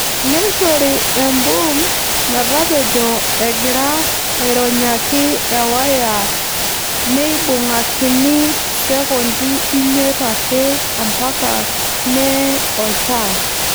Neishori emboom metapejo egira aironyaki ewaya neibung'akini Sekondi imiet ake ampaka nee oltaa.